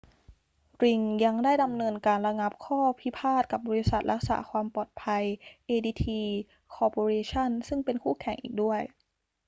ริงยังได้ดำเนินการระงับข้อพิพาทกับบริษัทรักษาความปลอดภัย adt corporation ซึ่งเป็นคู่แข่งอีกด้วย